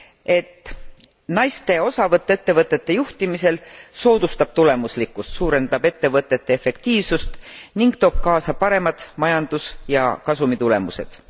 et naiste osavõtt ettevõtete juhtimisel soodustab tulemuslikkust, suurendab ettevõtete efektiivsust ning toob kaasa paremad majandus ja kasumitulemused.